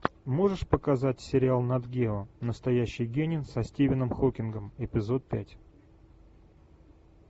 можешь показать сериал нат гео настоящий гений со стивеном хокингом эпизод пять